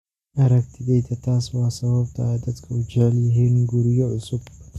Aragtideyda, taasi waa sababta ay dadku u jecel yihiin guryo cusub.